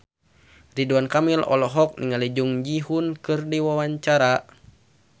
Ridwan Kamil olohok ningali Jung Ji Hoon keur diwawancara